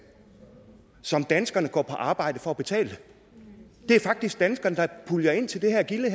som danskerne går på arbejde for at betale det er faktisk danskerne der puljer ind til det her gilde